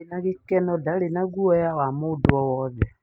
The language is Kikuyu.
Ndarĩ na gĩkeno, ndari na guoya ya mundu o wothe